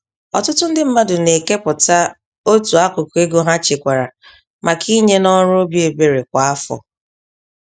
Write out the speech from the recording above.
Ọtụtụ ndị mmadụ nekepụta otú akụkụ ego ha chekwara maka inye n'ọrụ obi ebere kwá afọ.